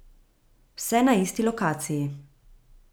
Vse na isti lokaciji.